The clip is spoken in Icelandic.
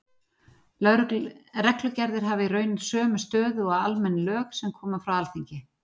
Reglugerðir hafa í rauninni sömu stöðu og almenn lög sem koma frá Alþingi.